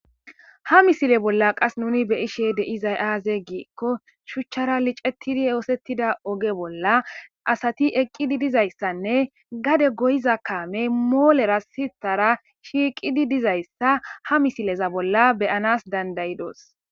Ha misile bolla qas nuni be ishe deizay aaze giikko shuchchara licetidi yoosettida oge bolla asati eqqidi dizayssanne gade goyiza kaame moolera sitara shiiqidi dizayssa ha misileza bolla beyanas dandayidos.